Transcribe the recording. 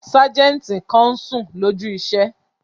Sájẹ̀ntì kan n sùn lójú iṣẹ́